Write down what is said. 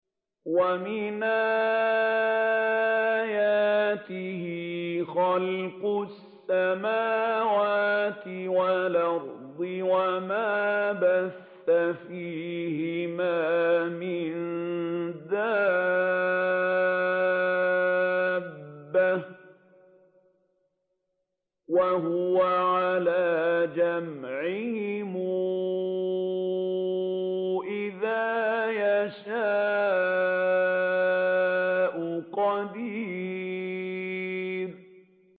وَمِنْ آيَاتِهِ خَلْقُ السَّمَاوَاتِ وَالْأَرْضِ وَمَا بَثَّ فِيهِمَا مِن دَابَّةٍ ۚ وَهُوَ عَلَىٰ جَمْعِهِمْ إِذَا يَشَاءُ قَدِيرٌ